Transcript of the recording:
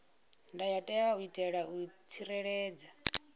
ndayotewa u itela u tsireledza